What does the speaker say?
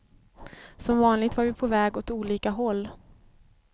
Som vanligt var vi på väg åt olika håll.